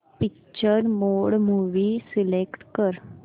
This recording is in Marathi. पिक्चर मोड मूवी सिलेक्ट कर